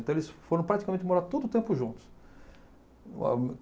Então eles foram praticamente morar todo o tempo juntos.